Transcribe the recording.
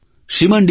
Shriman D